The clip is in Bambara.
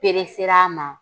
Peresera a ma